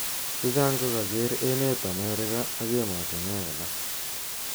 Chechang ko kaker emet America ak emotunwek alak.